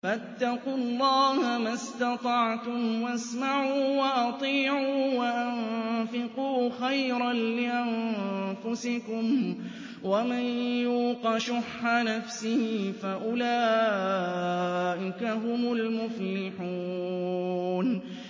فَاتَّقُوا اللَّهَ مَا اسْتَطَعْتُمْ وَاسْمَعُوا وَأَطِيعُوا وَأَنفِقُوا خَيْرًا لِّأَنفُسِكُمْ ۗ وَمَن يُوقَ شُحَّ نَفْسِهِ فَأُولَٰئِكَ هُمُ الْمُفْلِحُونَ